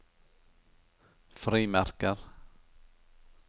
frimerker